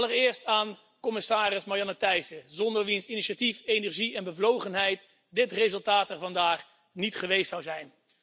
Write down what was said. Allereerst aan commissaris Marianne Thyssen, zonder wiens initiatief, energie en bevlogenheid dit resultaat er vandaag niet geweest zou zijn.